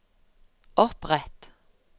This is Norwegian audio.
opprett